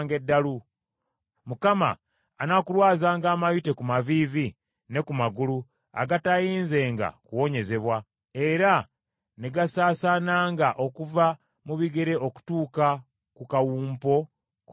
Mukama anaakulwazanga amayute ku maviivi ne ku magulu, agataayinzenga kuwonyezebwa, era ne gasaasaananga okuva mu bigere okutuuka ku kawumpo k’omutwe.